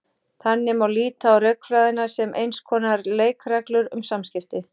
Þannig má líta á rökfræðina sem eins konar leikreglur um samskipti.